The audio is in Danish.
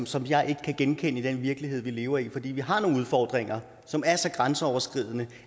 som jeg ikke kan genkende fra den virkelighed vi lever i for vi har nogle udfordringer som er så grænseoverskridende